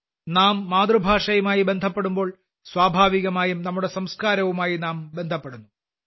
നാം നമ്മുടെ മാതൃഭാഷയുമായി ബന്ധപ്പെടുമ്പോൾ സ്വാഭാവികമായും നമ്മുടെ സംസ്കാരവുമായി നാം ബന്ധപ്പെടുന്നു